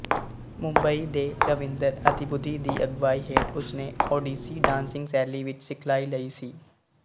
ਮੁੰਬਈ ਦੇ ਰਵਿੰਦਰ ਅਤੀਬੁਧੀ ਦੀ ਅਗਵਾਈ ਹੇਠ ਉਸਨੇ ਓਡੀਸੀ ਡਾਂਸਿੰਗ ਸ਼ੈਲੀ ਵਿੱਚ ਸਿਖਲਾਈ ਲਈ ਸੀ